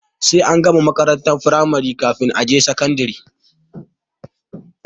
Sai an gama makarantar firamari kafin a je sakandare.